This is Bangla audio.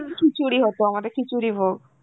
খিচুড়ি হতো আমাদের, খিচুড়ি ভোগ.